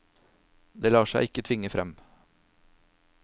Det lar seg ikke tvinge frem.